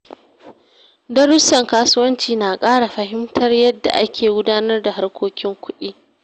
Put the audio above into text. Darussan kasuwanci na ƙara fahimtar yadda ake gudanar da harkokin kuɗi.